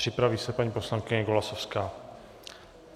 Připraví se paní poslankyně Golasowská.